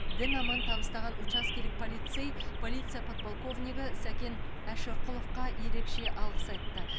дін аман табыстаған учаскелік полицей полиция подполковнигі сакен әшірқұловқа ерекше алғыс айтты